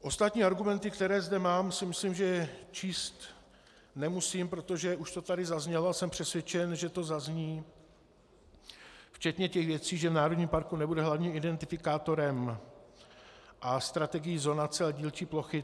Ostatní argumenty, které zde mám, si myslím, že číst nemusím, protože už to tady zaznělo a jsem přesvědčen, že to zazní, včetně těch věcí, že v národním parku nebude hlavním identifikátorem a strategií zonace a dílčí plochy.